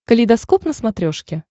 калейдоскоп на смотрешке